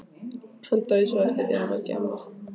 Hann dauðsá eftir að hafa verið að gjamma.